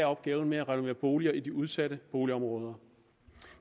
opgaven med at renovere boliger i de udsatte boligområder